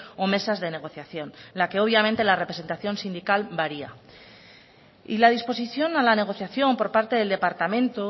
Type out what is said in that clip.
o mesas de negociación en la que obviamente la representación sindical varía y la disposición a la negociación por parte del departamento